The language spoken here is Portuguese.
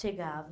Chegava.